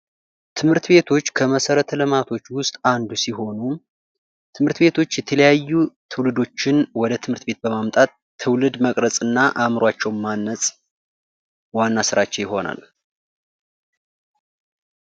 ትምህርት ቤቶች ከመሰረተ ልማቶች ዉስጥ አንዱ ሲሆኑ ትምህርት ቤቶች የተለያዩ ትውልዶችን ወደ ትምህርት ቤት በማምጣት ትውልድ መቅረፅ እና አእምሮአቸውን ማነፅ ዋና ስራቸው ይሆናል::